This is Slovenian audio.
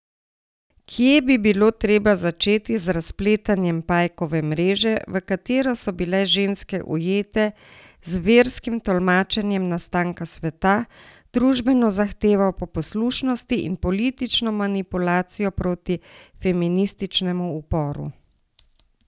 Kje bi bilo treba začeti z razpletanjem pajkove mreže, v katero so bile ženske ujete z verskim tolmačenjem nastanka sveta, družbeno zahtevo po poslušnosti in politično manipulacijo proti feminističnemu uporu?